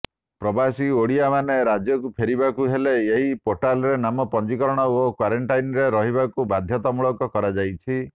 ପ୍ରବାସୀ ଓଡ଼ିଆମାନେ ରାଜ୍ୟକୁ ଫେରିବାକୁ ହେଲେ ଏହି ପୋର୍ଟାଲରେ ନାମ ପଞ୍ଜୀକରଣ ଓ କ୍ୱାରେଣ୍ଟାଇନ୍ରେ ରହବିାକୁ ବାଧ୍ୟତାମୂଳକ କରାଯାଇଛି